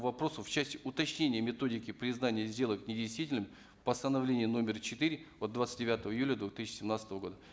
вопросу в части уточнения методики признания сделок недействительными постановление номер четыре от двадцать девятого июля две тысячи семнадцатого года